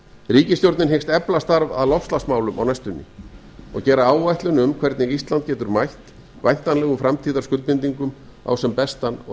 ríkisstjórnin hyggst efla starf að loftslagsmálum á næstunni og gera áætlun um hvernig ísland getur mætt væntanlegum framtíðarskuldbindingum á sem bestan og